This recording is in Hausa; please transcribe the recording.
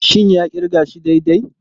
Shin ya kirga shi daidai?